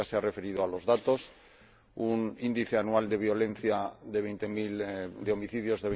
Usted se ha referido a los datos un índice anual de violencia de 20000 homicidios